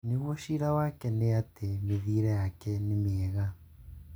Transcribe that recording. Ningũo cĩĩra wake nĩ atĩ mĩthiĩre yake nĩ mĩega